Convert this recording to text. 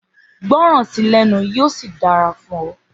Gbọràn sí lẹ́nu yíò sì dára fún ọ